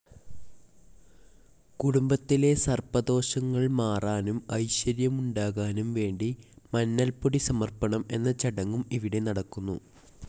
കുടുംബത്തിലെ സർപ്പദോഷങ്ങൾ മാറാനും ഐശ്വര്യമുണ്ടാകാനും വേണ്ടി മഞ്ഞൾപ്പൊടി സമർപ്പണം എന്ന ചടങ്ങും ഇവിടെ നടക്കുന്നു.